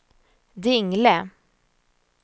Dingle